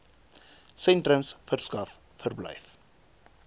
sentrums verskaf verblyf